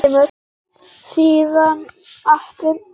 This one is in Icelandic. Síðan aftur á konuna.